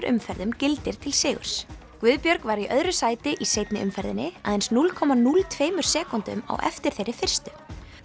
umferðum gildir til sigurs Guðbjörg var í öðru sæti í seinni umferðinni aðeins núll komma núll tveimur sekúndum á eftir þeirri fyrstu